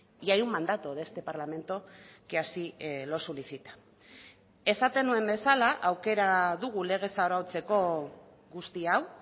y hay un mandato de este parlamento que así lo solicita esaten nuen bezala aukera dugu legez arautzeko guzti hau